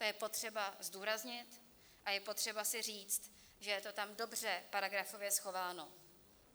To je potřeba zdůraznit a je potřeba si říct, že je to tam dobře paragrafově schováno.